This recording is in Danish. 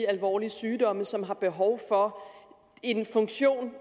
alvorlige sygdomme som har behov for en funktion